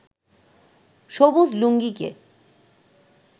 সবুজ লুঙ্গিকে